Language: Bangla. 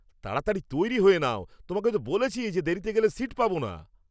তাড়াতাড়ি তৈরি হয়ে নাও! তোমাকে তো বলেছি যে দেরিতে গেলে সীট পাবো না।